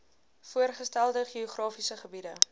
voorgestelde geografiese gebiede